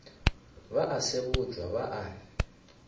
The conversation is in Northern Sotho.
ba a sebotšwa ba a